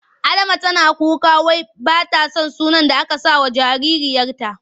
Adama tana kuka wai ba ta son sunan da aka sakawa jaririyarta.